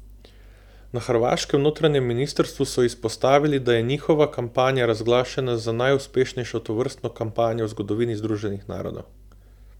Na hrvaškem notranjem ministrstvu so izpostavili, da je njihova kampanja razglašena za najuspešnejšo tovrstno kampanjo v zgodovini Združenih narodov.